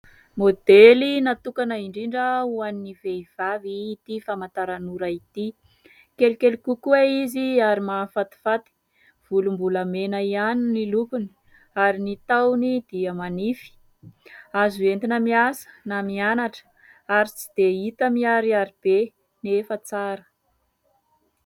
Modely natokana indrindra ho an'ny vehivavy ity famantaran'ora ity. Kelikely kokoa izy ary mahafatifaty, volombolamena ihany ny lokony ary ny tahony dia manify. Azo entina miasa na mianatra ary tsy dia hita miharihary be nefa tsara.